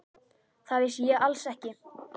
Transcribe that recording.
Það vissi ég alls ekki.